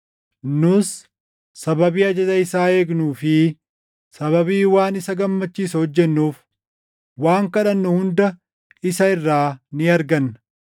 Nus sababii ajaja isaa eegnuu fi sababii waan isa gammachiisu hojjennuuf waan kadhannu hunda isa irraa ni arganna.